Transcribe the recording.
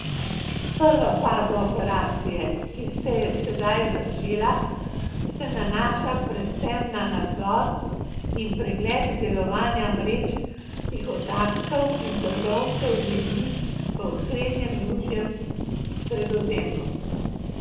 Prva faza operacije, ki se je sedaj začela, se nanaša predvsem na nadzor in pregled delovanja mrež tihotapcev in trgovcev z ljudmi v osrednjem južnem Sredozemlju.